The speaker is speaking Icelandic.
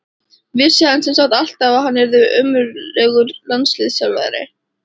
Vissi hann sem sagt alltaf að hann yrði ömurlegur landsliðsþjálfari?